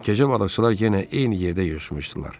Gecə balıqçılar yenə eyni yerdə yığışmışdılar.